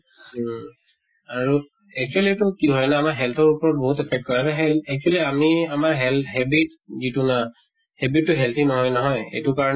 উম। আৰু actually এইটো কি হয় ন, আমাৰ health ৰ ওপৰত বিহুত affect কৰে আৰু সেই actually আমি আমাৰ health habit যিটো না habit টো healthy নহয় নহয় এইটো কাৰণে